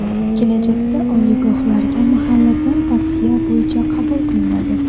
Kelajakda oliygohlarga mahalladan tavsiya bo‘yicha qabul qilinadi!.